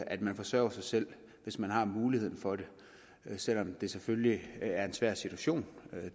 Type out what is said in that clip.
at man forsørger sig selv hvis man har muligheden for det selv om det selvfølgelig er en svær situation